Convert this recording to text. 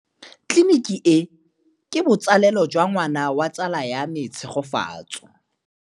Tleliniki e, ke botsalêlô jwa ngwana wa tsala ya me Tshegofatso.